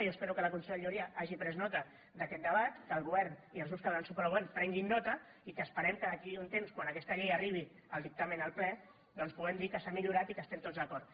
jo espero que la conselleria hagi pres nota d’aquest debat que el govern i els grups que donen suport al govern en prenguin nota i que esperem que d’aquí a un temps quan d’aquesta llei n’arribi el dictamen al ple doncs puguem dir que s’ha millorat i que hi estem tots d’acord